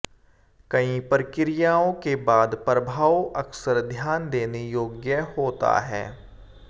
कई प्रक्रियाओं के बाद प्रभाव अक्सर ध्यान देने योग्य होता है